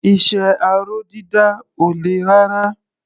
Iṣẹ́ aró dídà ò le rárá.